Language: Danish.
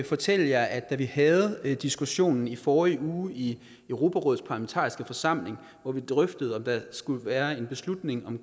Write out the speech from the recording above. fortælle jer at da vi havde diskussionen i forrige uge i europarådets parlamentariske forsamling hvor vi drøftede om der skulle være en beslutning om